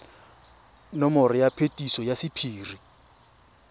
nomoro ya phetiso ya sephiri